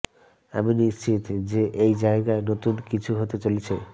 আমি নিশ্চিত যে এই জায়গায় নতুন কিছু হতে চলেছে